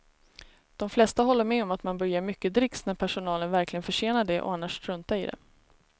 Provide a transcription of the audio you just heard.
De flesta håller med om att man bör ge mycket dricks när personalen verkligen förtjänar det och annars strunta i det.